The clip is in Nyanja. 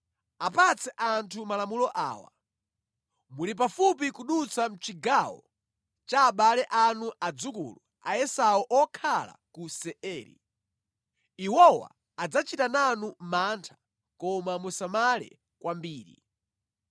Apatse anthu malamulo awa: ‘Muli pafupi kudutsa mʼchigawo cha abale anu adzukulu a Esau okhala ku Seiri. Iwowa adzachita nanu mantha koma musamale kwambiri.